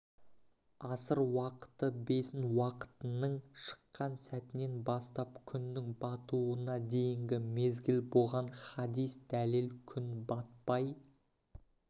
аср уақыты бесін уақытының шыққан сәтінен бастап күннің батуына дейінгі мезгіл бұған хадис дәлел күн батпай